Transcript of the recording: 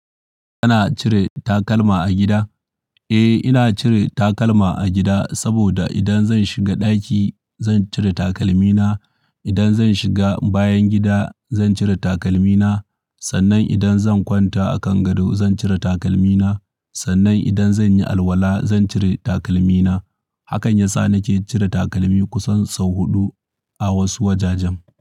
Kana cire takalma a gida? Eh, ina cire takalma a gida saboda idan zan shiga ɗaki zan cire takalmina. Idan zan shiga bayan gida zan cire takalmina. Sannan idan zan kwanta a kan gado zan cire takalmina. Sannan idan zan yi alwala zan cire takalmina. Hakan yasa nake cire takalmi kusan sau huɗu a wasu wajajen.